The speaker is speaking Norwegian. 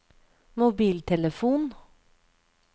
mobiltelefon